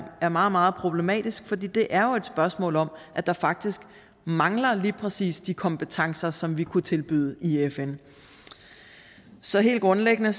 er meget meget problematisk for det det er jo et spørgsmål om at der faktisk mangler lige præcis de kompetencer som vi kunne tilbyde i fn så helt grundlæggende